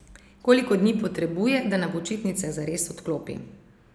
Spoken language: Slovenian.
Koliko dni potrebuje, da na počitnicah zares odklopi?